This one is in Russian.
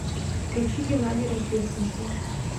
включи геннадий рождественский